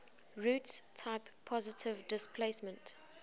roots type positive displacement